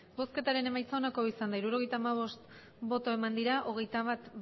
emandako botoak hirurogeita hamabost bai hogeita bat